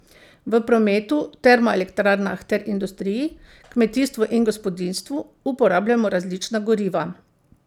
V prometu, termoelektrarnah ter industriji, kmetijstvu in gospodinjstvu uporabljamo različna goriva.